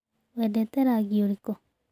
Wendete rangi ũrĩkũ?